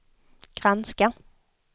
granska